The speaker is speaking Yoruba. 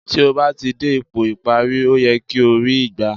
Tí ó bá ti dé ipò ìparí, ó yẹ kí o ri í gbà